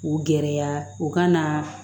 K'u gɛrɛ u ka naaa